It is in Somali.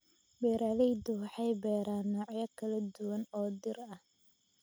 Beeraleydu waxay beeraan noocyo kala duwan oo dhir ah.